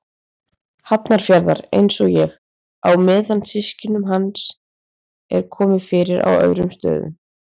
Hafnarfjarðar, einsog ég, á meðan systkinum hans er komið fyrir á öðrum stöðum.